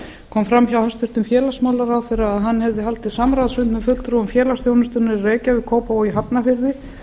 kom fram hjá hæstvirtum félagsmálaráðherra að hann hefði haldið samráðsfund með fulltrúum félagsþjónustunnar í reykjavík kópavogi og hafnarfirði